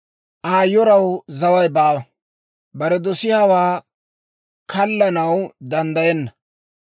«Aa yoraw zaway baawa; bare dosiyaawaa kallanaw danddayenna;